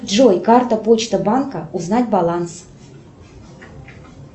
джой карта почта банка узнать баланс